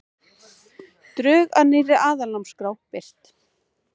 Drög að nýrri aðalnámskrá birt